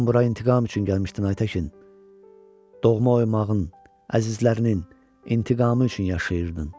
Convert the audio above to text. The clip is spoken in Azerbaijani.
Sən bura intiqam üçün gəlmişdin Ayətəkin, doğma oymağın, əzizlərinin intiqamı üçün yaşayırdın.